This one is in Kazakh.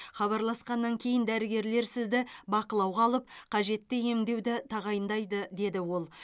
хабарласқаннан кейін дәрігерлер сізді бақылауға алып қажетті емдеуді тағайындайды деді ол